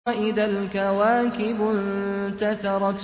وَإِذَا الْكَوَاكِبُ انتَثَرَتْ